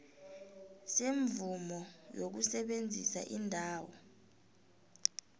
semvumo yokusebenzisa indawo